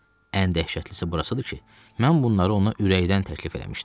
Ən dəhşətlisi burasıdır ki, mən bunları ona ürəkdən təklif eləmişdim.